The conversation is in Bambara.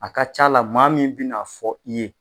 A ka c'a la maa min bi n'a fɔ i ye